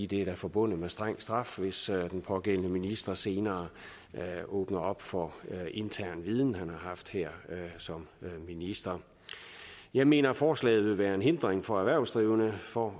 det er forbundet med streng straf hvis den pågældende minister senere åbner for intern viden han har haft her som minister jeg mener forslaget vil være en hindring for erhvervsdrivende for